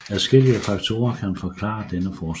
Adskillige faktorer kan forklare denne forskel